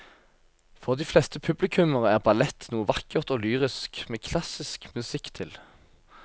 For de fleste publikummere er ballett noe vakkert og lyrisk med klassisk musikk til.